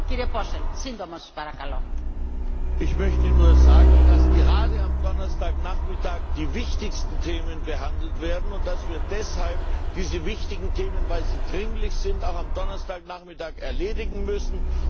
Frau Präsidentin! Ich möchte nur sagen, dass gerade am Donnerstagnachmittag die wichtigsten Themen behandelt werden, und dass wir deshalb diese wichtigen Themen, weil sie dringlich sind, auch am Donnerstagnachmittag erledigen müssen.